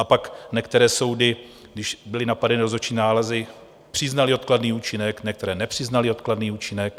A pak některé soudy, když byly napadeny rozhodčí nálezy, přiznaly odkladný účinek, některé nepřiznaly odkladný účinek.